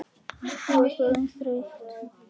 Þú ert orðin þreytt.